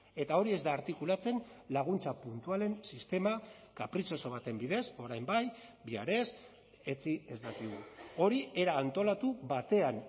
eta hori ez da artikulatzen laguntza puntualen sistema kapritxoso baten bidez orain bai bihar ez etzi ez dakigu hori era antolatu batean